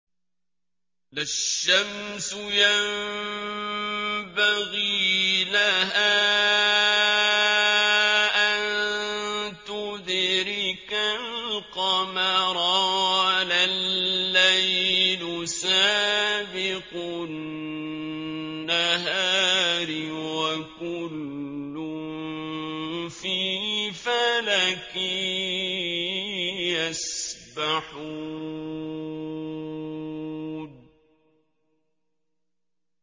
لَا الشَّمْسُ يَنبَغِي لَهَا أَن تُدْرِكَ الْقَمَرَ وَلَا اللَّيْلُ سَابِقُ النَّهَارِ ۚ وَكُلٌّ فِي فَلَكٍ يَسْبَحُونَ